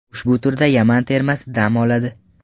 Ushbu turda Yaman termasi dam oladi.